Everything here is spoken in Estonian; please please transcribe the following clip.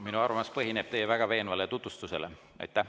Minu arvamus põhineb teie väga veenval tutvustusel.